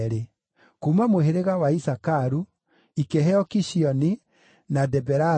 kuuma mũhĩrĩga wa Isakaru, ikĩheo Kishioni, na Deberathu,